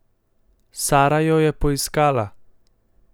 Sara jo je poiskala!